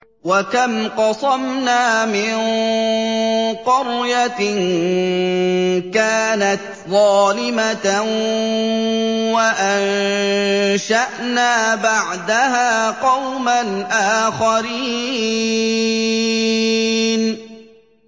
وَكَمْ قَصَمْنَا مِن قَرْيَةٍ كَانَتْ ظَالِمَةً وَأَنشَأْنَا بَعْدَهَا قَوْمًا آخَرِينَ